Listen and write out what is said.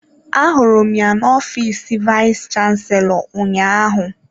Ahụrụ m ya n'ofiis vayis chansilọ ụnyaahụ.